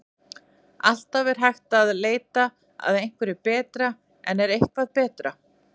Það er alltaf hægt að leita að einhverju betra en er eitthvað betra?